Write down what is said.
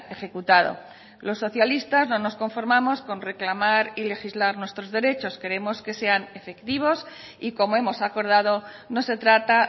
ejecutado los socialistas no nos conformamos con reclamar y legislar nuestros derechos queremos que sean efectivos y como hemos acordado no se trata